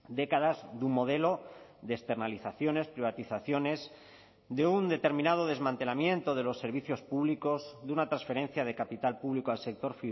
décadas de un modelo de externalizaciones privatizaciones de un determinado desmantelamiento de los servicios públicos de una transferencia de capital público al sector